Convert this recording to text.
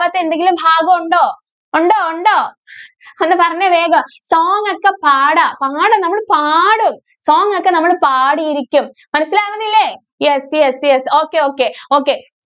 വാത്തെ എന്തെങ്കിലും ഭാഗം ഒണ്ടോ? ഒണ്ടോ? ഒണ്ടോ? ഒന്ന് പറഞ്ഞേ, വേഗം. song ഒക്കെ പാടാം, പാടും, നമ്മള് പാടും song ഒക്കെ നമ്മള് പാടിയിരിക്കും. മനസിലാവുന്നില്ലേ? yes, yes, yes, okay, okay, okay.